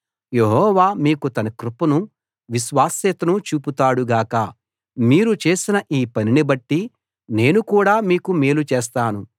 యెహోవా మీకు తన కృపను విశ్వాస్యతను చూపుతాడు గాక మీరు చేసిన ఈ పనిని బట్టి నేను కూడా మీకు మేలు చేస్తాను